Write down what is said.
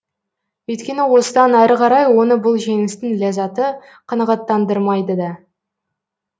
өйткені осыдан әрі қарай оны бұл жеңістің ләззаты қанағаттандырмайды да